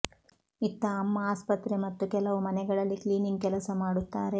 ಇತ್ತ ಅಮ್ಮ ಆಸ್ಪತ್ರೆ ಮತ್ತು ಕೆಲವು ಮನೆಗಳಲ್ಲಿ ಕ್ಲೀನಿಂಗ್ ಕೆಲಸ ಮಾಡುತ್ತಾರೆ